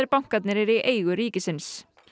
bankarnir eru í eigu ríksins